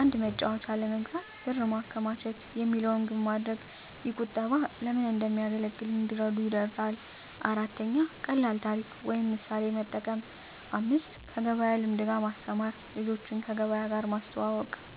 “አንድ መጫወቻ ለመግዛት ብር ማከማቸት” የሚለውን ግብ ማድረግ። ይህ ቁጠባ ለምን እንደሚያገለግል እንዲረዱ ይረዳል። 4. ቀላል ታሪክ ወይም ምሳሌ መጠቀም 5. ከገበያ ልምድ ጋር ማስተማር ልጆችን ከገበያ ጋር ማስተዋወቅ።